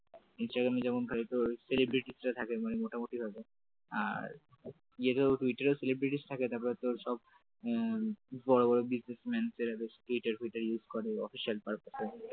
ইনস্টাগ্রামে যেমন হয় তোর থাকে celebrity রে থাকে মানে মোটামুটি হয়তো আর টুইটারও celebrity থাকে তারপর তোর সব বড় বড় businessman টুইটার ফিউটার use করে official purpose জন্য